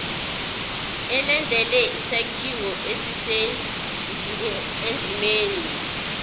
ilandele isakhiwo esisendimeni